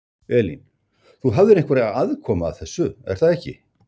Elín: Þú hafðir einhverja aðkomu að þessu, er það ekki?